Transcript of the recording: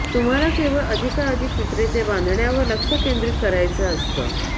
तुम्हाला केवळ अधिकाधिक विक्रेते बांधण्यावर लक्ष केंद्रित करायंच असतं